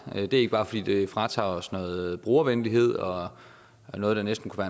det er ikke bare fordi det fratager os noget brugervenlighed og noget der næsten kunne